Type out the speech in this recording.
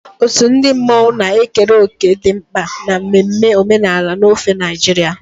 Otu ndị mmanwụ na-ekere òkè dị mkpa na mmemme omenala n'ofe Naịjirịa.